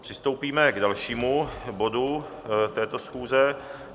Přistoupíme k dalšímu bodu této schůze.